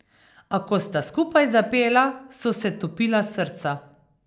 A ko sta skupaj zapela, so se topila srca ...